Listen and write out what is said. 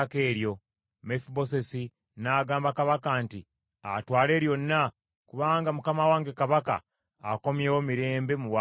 Mefibosesi n’agamba kabaka nti, “Atwale lyonna, kubanga mukama wange kabaka akomyewo mirembe mu bwakabaka bwe.”